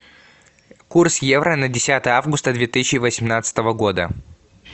курс евро на десятое августа две тысячи восемнадцатого года